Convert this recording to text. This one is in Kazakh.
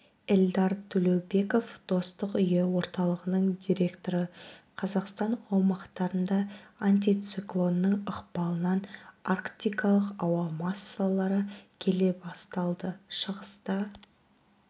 эльдар төлеубеков достық үйі орталығының директоры қазақстан аумақтарында антициклонның ықпалынан арктикалық ауа массалары келе басталды шығыста